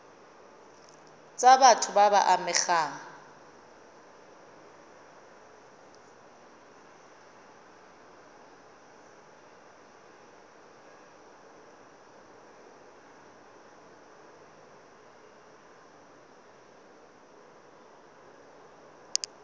tsa batho ba ba amegang